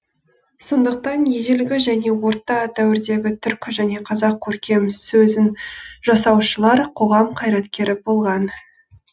сондықтан ежелгі және орта дәуірдегі түркі және қазақ көркем сөзін жасаушылар қоғам қайраткері болған